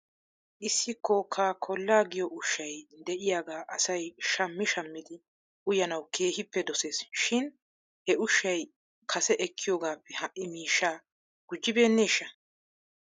Issi kokaa koollaa giyoo ushshay de'iyaagaa asay shammi shammidi uyanaw keehippe dosees shin he ushshay kase ekkiyoogaappe ha'i miishshaa gujjibeeneeshsha?